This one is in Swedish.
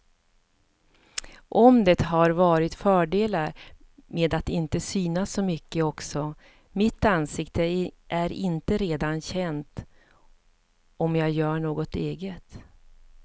Och det har varit fördelar med att inte synas så mycket också, mitt ansikte är inte redan känt om jag gör något eget.